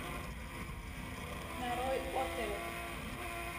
нарой оперу